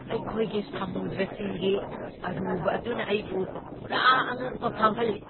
ꯑꯩꯈꯣꯏꯒꯤ ꯁꯃꯨꯗ꯭ꯔꯁꯤꯡꯒꯤ ꯑꯔꯨꯕ ꯑꯗꯨꯅ ꯑꯩꯕꯨ ꯄꯨꯔꯥ ꯑꯉꯛꯄ ꯐꯥꯎꯍꯜꯂꯤ ꯫